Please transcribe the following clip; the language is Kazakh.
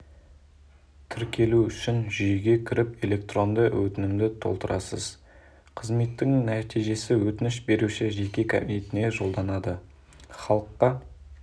тіркелу үшін жүйеге кіріп электронды өтінімді толтырасыз қызметтің нәтижесі өтініш берушінің жеке кабинетіне жолданады халыққа